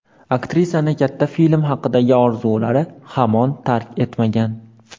Aktrisani katta film haqidagi orzulari hamon tark etmagan.